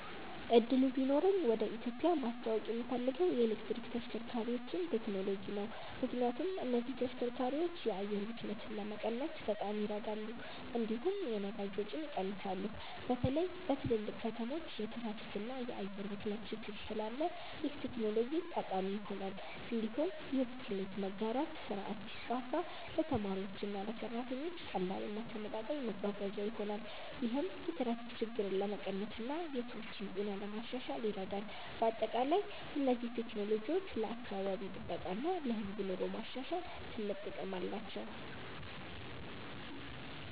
እድሉ ቢኖረኝ ወደ ኢትዮጵያ ማስተዋወቅ የምፈልገው የኤሌክትሪክ ተሽከርካሪዎችን ቴክኖሎጂ ነው። ምክንያቱም እነዚህ ተሽከርካሪዎች የአየር ብክለትን ለመቀነስ በጣም ይረዳሉ፣ እንዲሁም የነዳጅ ወጪን ይቀንሳሉ። በተለይ በትልልቅ ከተሞች የትራፊክ እና የአየር ብክለት ችግር ስላለ ይህ ቴክኖሎጂ ጠቃሚ ይሆናል። እንዲሁም የብስክሌት መጋራት ስርዓት ቢስፋፋ ለተማሪዎችና ለሰራተኞች ቀላል እና ተመጣጣኝ መጓጓዣ ይሆናል። ይህም የትራፊክ ችግርን ለመቀነስ እና የሰዎችን ጤና ለማሻሻል ይረዳል። በአጠቃላይ እነዚህ ቴክኖሎጂዎች ለአካባቢ ጥበቃ እና ለህዝብ ኑሮ ማሻሻል ትልቅ ጥቅም አላቸው።